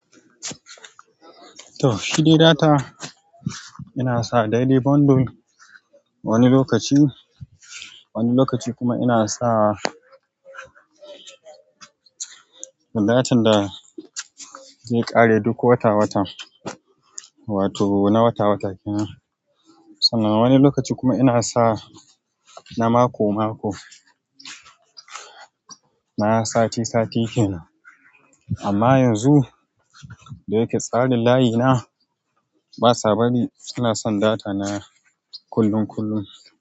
To, shi dai data. Ina sa daily bundle wani lokaci, wani lokaci kuma ina sa. Datan da zai ƙare duk wata-wata, wato na wata-wata kenan. Sannan wani lokaci kuma ina sa na mako-mako, na sati-sati kenan. Amma yanzu da yake tsarin layina, basa bari ina son data na kullum-kullum.